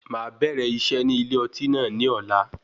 Máa bẹ̀rẹ̀ iṣẹ́ ní ilé ọtí náà ni ọ̀la.